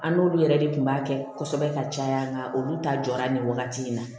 An n'olu yɛrɛ de tun b'a kɛ kosɛbɛ ka caya nka olu ta jɔ la nin wagati in na